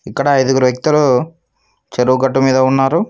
ఇక్కడ ఐదుగురు వ్యక్తులు చెరువు గట్టుమీద ఉన్నారు.